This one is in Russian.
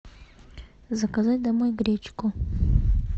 заказать домой гречку